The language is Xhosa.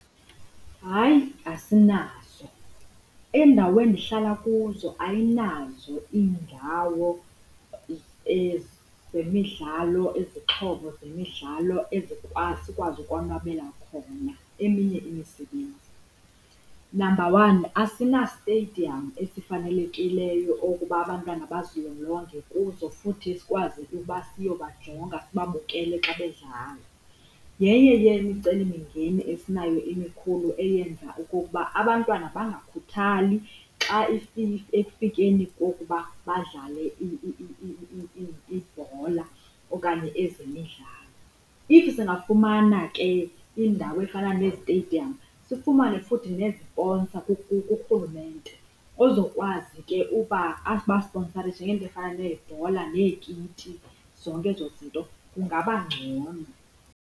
Hayi asinazo, indawo endihlala kuzo ayinazo iindawo zemidlalo izixhobo zemidlalo ezikwazi esikwazi ukonwabela khona eminye imisebenzi. Namba one, asinasitediyamu esifanelekileyo okokuba abantwana bazilolonge kuzo futhi sikwazi ukuba siyobajonga sibabukele xa bedlala. Yenye yemicelimngeni esinayo emikhulu eyenza okokuba abantwana bangakhuthali xa ekufikeni kokuba badlale ibhola okanye ezemidlalo. If singafumana ke indawo efana nezitediyamu sifumane futhi neziponsa kurhulumente ozokwazi ke uba abasiponsarishe ngeento ezifana neebhola neekiti, zonke ezo zinto kungaba ngcono.